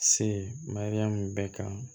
Se mariyamu bɛɛ kan